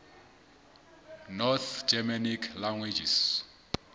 north germanic languages